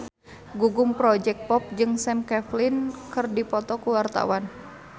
Gugum Project Pop jeung Sam Claflin keur dipoto ku wartawan